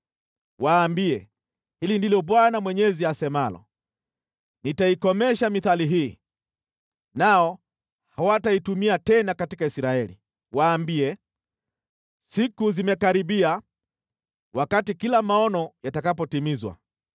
Waambie, ‘Hili ndilo Bwana Mwenyezi asemalo: Nitaikomesha mithali hii, nao hawataitumia tena katika Israeli.’ Waambie, ‘Siku zimekaribia wakati kila maono yatakapotimizwa.